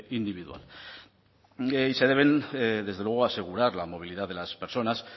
individual y se debe desde luego asegurar la movilidad de las personas